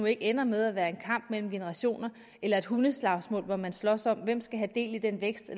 ikke ender med at være en kamp mellem generationer eller et hundeslagsmål hvor man slås om hvem der skal have del i den vækst